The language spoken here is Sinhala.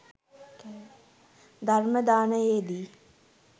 ධර්ම දානයේදී